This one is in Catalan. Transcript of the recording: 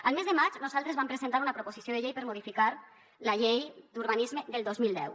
el mes de maig nosaltres vam presentar una proposició de llei per modificar la llei d’urbanisme del dos mil deu